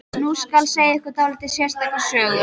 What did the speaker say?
Nú skal segja ykkur dálítið sérstaka sögu.